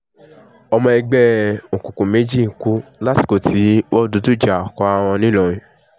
ọmọ ẹgbẹ́ òkùnkùn méjì kù lásìkò tí wọ́n dojú ìjà kóra wọn nìlọrin